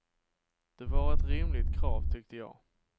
Det var ett rimligt krav, tyckte jag.